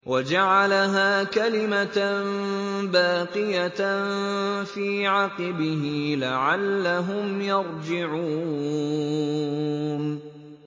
وَجَعَلَهَا كَلِمَةً بَاقِيَةً فِي عَقِبِهِ لَعَلَّهُمْ يَرْجِعُونَ